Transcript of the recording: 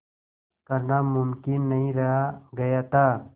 करना मुमकिन नहीं रह गया था